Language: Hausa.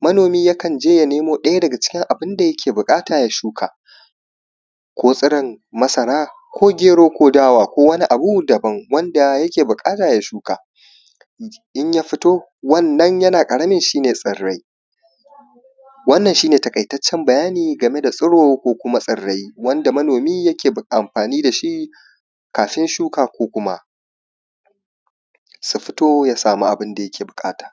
Manomi yakan je ya nemo ɗaya daga cikin abin da yake buƙata ya shuka, ko tsiron masara ko gero ko dawa ko wani abu daban wanda yake buƙata ya shuka, in ya fito wannan yana ƙaramin shi ne tsirrai. Wannan shi ne taƙaitaccen bayani game da tsiro ko kuma tsirrai wanda manomi yake amfaani da shi kafin shuka ko kuma su fito ya samu abin da yake buƙata.